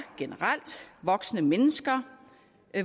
generelt voksne mennesker